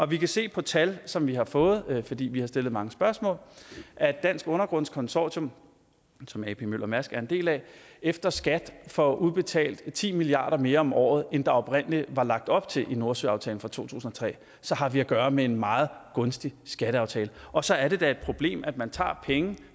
vi kan se på tal som vi har fået fordi vi har stillet mange spørgsmål at dansk undergrunds consortium som ap møller mærsk as er en del af efter skat får udbetalt ti milliard kroner mere om året end der oprindelig var lagt op til i nordsøaftalen fra to tusind og tre så har vi at gøre med en meget gunstig skatteaftale og så er det da et problem at man tager penge